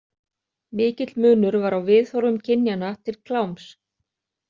Mikill munur var á viðhorfum kynjanna til kláms.